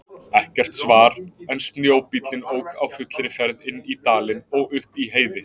Ekkert svar en snjóbíllinn ók á fullri ferð inn dalinn og upp í Heiði.